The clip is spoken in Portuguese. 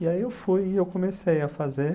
E aí eu fui e eu comecei a fazer.